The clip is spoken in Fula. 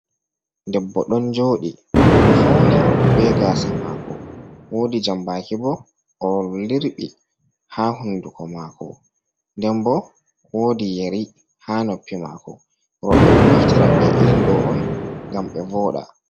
Debbo ɗon jooɗi, o fauni be gaasa maako, woodi jambaaki bo, o lirɓi ha hunduko maako. Nden bo woodi yari ha noppi maako. Rowɓe ɗon naftira be irin ɗo on ngam ɓe vooɗa.